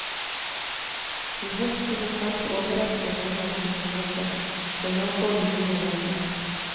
Ihøst vil hun kanskje overraske mange av sine lesere, for nå går hun nye veier.